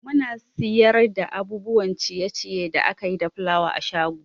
Muna siyar da abubuwan ciye ciye da akayi da fulawa a shago